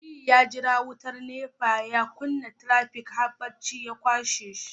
Aliyu ya jira wutar NEPA ya kunna trafic har bacci ya kashe